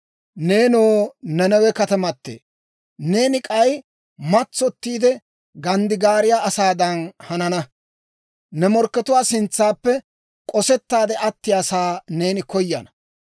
Neenoo Nanawe katamatee, neeni k'ay matsottiide ganddigaariyaa asaadan hanana. Ne morkkatuwaa sintsaappe k'osettaade attiyaasaa neeni koyana.